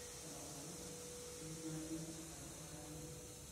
ore enasuju kayieu naning ajo kaanyor oleng